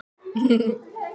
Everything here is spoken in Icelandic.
Karítas, mun rigna í dag?